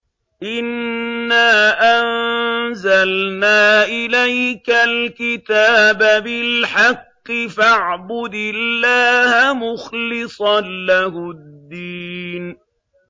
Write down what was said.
إِنَّا أَنزَلْنَا إِلَيْكَ الْكِتَابَ بِالْحَقِّ فَاعْبُدِ اللَّهَ مُخْلِصًا لَّهُ الدِّينَ